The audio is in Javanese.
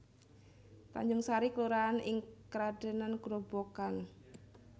Tanjungsari kelurahan ing Kradenan Grobogan